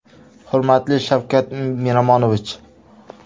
Hurmatli Shavkat Miromonovich!